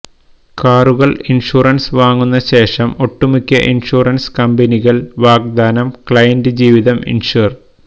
കാറുകൾ ഇൻഷുറൻസ് വാങ്ങുന്ന ശേഷം ഒട്ടുമിക്ക ഇൻഷുറൻസ് കമ്പനികൾ വാഗ്ദാനം ക്ലയന്റ് ജീവിതം ഇൻഷ്വർ